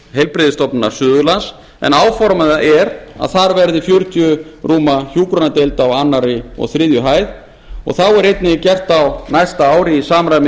heilbrigðisstofnunar suðurlands en áformað er að þar verði fjörutíu rúma hjúkrunardeild á öðrum og þriðju hæð þá er einnig gert ráð fyrir að á næsta ári í samræmi